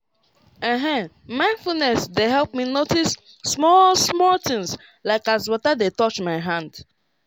ehn mindfulness dey help me notice small-small things like as water dey touch my hand.